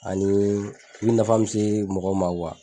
Anii min nafa mi se mɔgɔ ma